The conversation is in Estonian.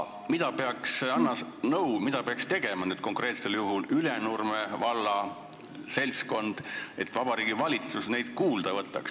Anna nõu, mida peaks konkreetsel juhul tegema Ülenurme valla seltskond, et Vabariigi Valitsus neid kuulda võtaks!